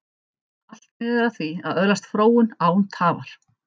Allt miðar að því að öðlast fróun, án tafar.